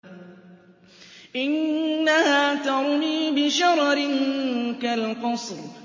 إِنَّهَا تَرْمِي بِشَرَرٍ كَالْقَصْرِ